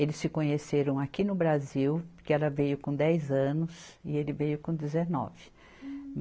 Eles se conheceram aqui no Brasil, porque ela veio com dez anos e ele veio com dezenove.